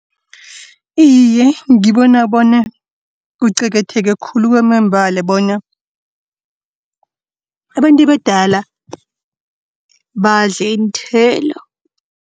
Iye, ngibona bona kuqakatheke khulu kwamambala bona, abantu abadala badle iinthelo.